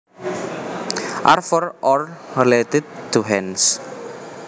are for or related to hands